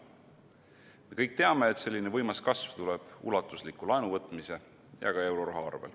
Me kõik teame, et selline võimas kasv tuleb tänu ulatuslikule laenu võtmisele ja ka eurorahale.